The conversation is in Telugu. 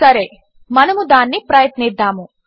సరే మనము దానిని ప్రయత్నిద్దాము